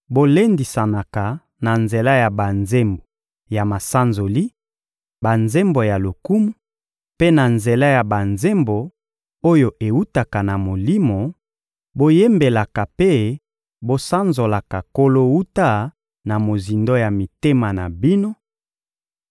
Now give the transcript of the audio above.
bolendisanaka na nzela ya banzembo ya masanzoli, banzembo ya lokumu, mpe na nzela ya banzembo oyo ewutaka na Molimo; boyembelaka mpe bosanzolaka Nkolo wuta na mozindo ya mitema na bino;